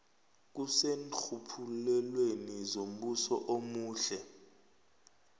kuseenrhuluphelweni zombuso omuhle